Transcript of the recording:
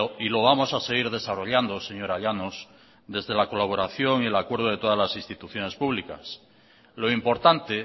y lo vamos a seguir desarrollando señora llanos desde la colaboración y el acuerdo de todas las instituciones públicas lo importante